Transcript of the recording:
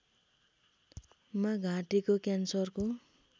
मा घाँटीको क्यान्सरको